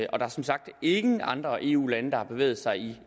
og der er som sagt ingen andre eu lande der har bevæget sig